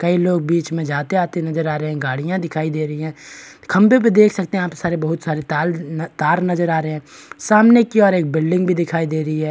कई लोग बीच में जाते-आते नजर आ रहे हैं गाड़ियाँ दिखाई दे रही हैं खंबे पे देख सकते हैं आप सारे बहुत सारे तार तार नजर आ रहे हैं सामने की और एक बिल्डिंग भी दिखाई दे रही है।